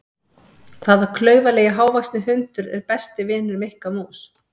Hvaða klaufalegi hávaxni hundur er besti vinur Mikka mús?